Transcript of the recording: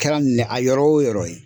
Kɛra minɛ a yɔrɔ wo yɔrɔ ye.